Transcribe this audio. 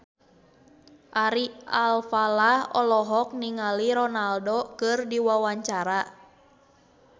Ari Alfalah olohok ningali Ronaldo keur diwawancara